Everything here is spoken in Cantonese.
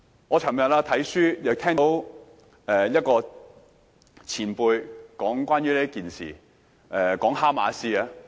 我昨天看書，亦聽到一位前輩談論這件事時，提到哈馬斯。